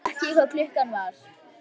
Hann vissi ekki hvað klukkan var.